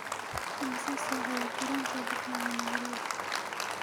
Imisa saac ayuu tareenku u baxayaa Nairobi?